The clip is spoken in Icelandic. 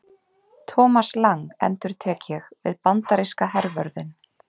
Thomas Lang endurtek ég við bandaríska hervörðinn.